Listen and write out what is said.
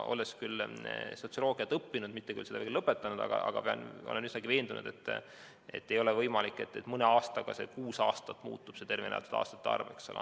Olles sotsioloogiat õppinud , olen üsnagi veendunud, et ei ole võimalik, et mõne aastaga muutub tervena elatud aastate arv kuue aasta võrra.